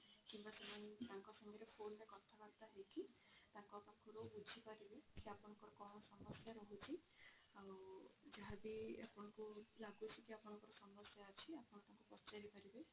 ତାଙ୍କ ସହ phone ରେ କଥା ବାର୍ତା ହେଇକି ତାଙ୍କ ପାଖରୁ ବୁଝିପାରିବେ କି ଆପଣଙ୍କର କଣ ସମସ୍ୟା ରହୁଛି ଆଉ ଯାହା ବି ଆପଣଙ୍କୁ ଲାଗୁଛି କି ଆପଣଙ୍କ ସମସ୍ୟା ଅଛି ଆପଣ ତାଙ୍କୁ ପଚାରି ପାରିବେ।